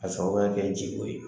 Ka sababuya kɛ ji ko ye.